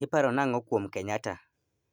Iparo nang'o kuom Kenyatta